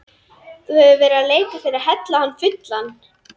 Þú hefur verið að leika þér að hella hann fullan.